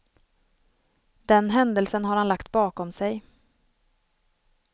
Den händelsen har han lagt bakom sig.